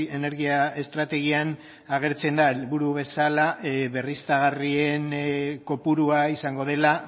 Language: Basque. energia estrategian agertzen da helburu bezala berriztagarrien kopurua izango dela